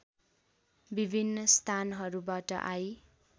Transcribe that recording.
विभिन्न स्थानहरूबाट आई